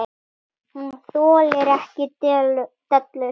Hún þolir ekki dellur.